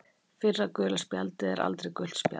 Fyrra gula spjaldið er aldrei gult spjald.